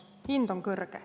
Hind on kõrge.